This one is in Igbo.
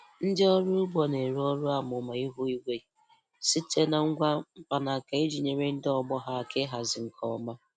Ndị ọrụ ugbo na-ere ọrụ amụma ihu igwe site na ngwa mkpanaka iji nyere ndị ọgbọ ha aka ịhazi nke ọma.